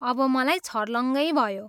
अब मलाई छर्लङ्गै भयो।